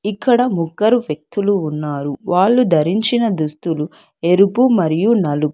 ఇక్కడ ముగ్గురు వ్యక్తులు ఉన్నారు వాళ్ళు ధరించిన దుస్తులు ఎరుపు మరియు నలుపు.